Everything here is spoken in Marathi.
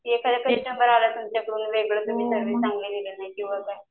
एखादं आला तर चांगले किंवा काय.